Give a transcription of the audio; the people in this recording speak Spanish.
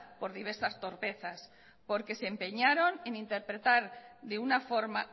por diversas torpezas porque se empeñaron en interpretar de una forma